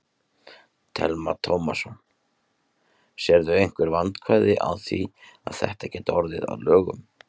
Telma Tómasson: Sérðu einhver vandkvæði á því að þetta gæti orðið að lögum?